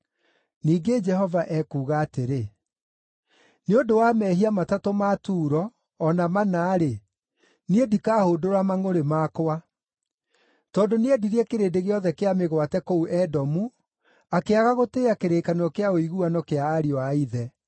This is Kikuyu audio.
Ningĩ Jehova ekuuga atĩrĩ: “Nĩ ũndũ wa mehia matatũ ma Turo, o na mana-rĩ, niĩ ndikahũndũra mangʼũrĩ makwa. Tondũ nĩendirie kĩrĩndĩ gĩothe kĩa mĩgwate kũu Edomu, akĩaga gũtĩĩa kĩrĩkanĩro kĩa ũiguano kĩa ariũ a ithe.